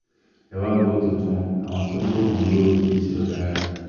ẹ wàá gbọ́ tuntun àwọn tó ń lo oògùn olóró kì í ṣe ọ̀daràn